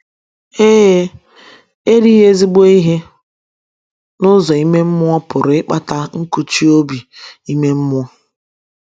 Ee, erighị ezIgbo ihe n’ụzọ ime mmụọ pụrụ ịkpata nkụchi obi ime mmụọ.